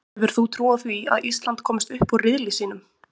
Hefur þú trú á því að Ísland komist upp úr riðli sínum?